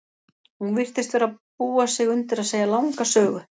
Hún virtist vera að búa sig undir að segja langa sögu.